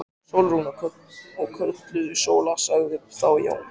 Sólrún. og kölluð Sóla, sagði þá Jón.